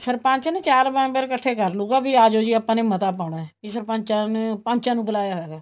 ਸਰਪੰਚ ਨਾ ਚਾਰ member ਇੱਕਠੇ ਕਰ ਲਹੂਗਾ ਵੀ ਆਜੋ ਜੀ ਆਪਾਂ ਨੇ ਮਤਾ ਪਾਉਣਾ ਵੀ ਸਰਪੰਚਾਂ ਨੇ ਪੰਚਾਂ ਨੂੰ ਬੁਲਾਇਆ ਹੋਇਆ